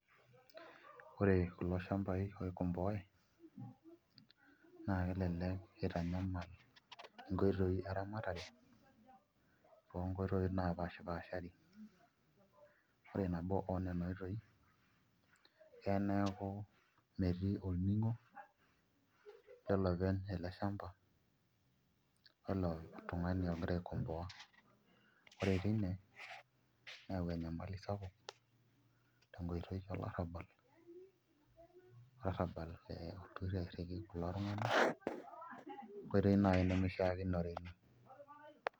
Ore kulo shambai oikomboae naa kelelek itanyamal nkoitoi eramatare onkoitoi naapashipaashari ore nabo oo nena oitoi eya neeku metii olning'o olopeny ele shamba eilo tung'ani ogira aikomboa ore tine neyau enyamali sapuk tenkitoi olarrabal, olarrabal olotu toi airriki kulo tung'anak enkoitoi naai nemishiakinore ina.